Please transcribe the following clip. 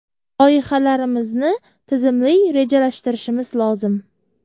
Loyihalarimizni tizimli rejalashtirishimiz lozim.